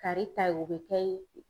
Kari ta ye o be kɛ ye